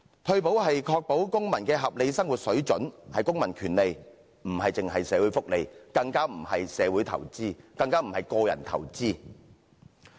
退保是確保公民的合理生活水準，是公民權利，不止是社會福利，更不是社會投資，更不是個人投資。